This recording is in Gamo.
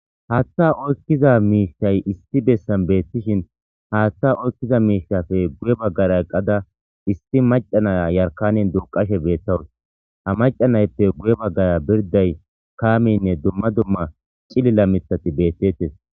Hatha oykiza mishay issi besan betishin hatha oykiza mishatappe guye bagara eqada issi macca naya yarkanen duqashe betawusi ha maca nayippe guye bagara birday kamey duma duma cilila mithati betetes